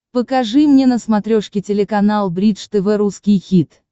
покажи мне на смотрешке телеканал бридж тв русский хит